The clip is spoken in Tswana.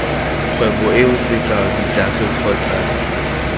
kgwebong eo sekao ditagi kgotsa